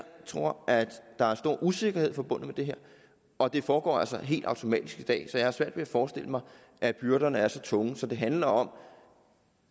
tror der er stor usikkerhed forbundet med det her og det foregår altså helt automatisk i dag så jeg har svært ved at forestille mig at byrderne er så tunge så det handler om